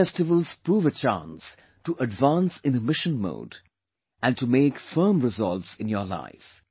These festivals prove a chance to advance in a mission mode and to make firm resolves in your life